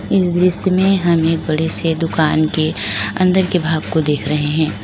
इस दृश्य में हमें बड़े से दुकान के अंदर के भाग को देख रहे हैं।